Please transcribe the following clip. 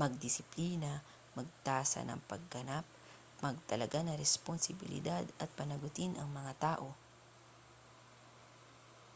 magdisiplina magtasa ng pagganap magtalaga ng responsibilidad at panagutin ang mga tao